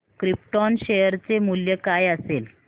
krypton share चे मूल्य काय असेल